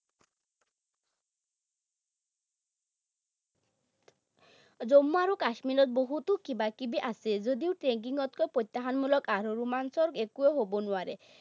জম্মু আৰু কাশ্মীৰত বহুতো কিবা কিবি আছে যদিও tracking তকৈ প্ৰ্যতাহ্বানমূলক আৰু ৰোমাঞ্চক একোৱেই হব নোৱাৰে।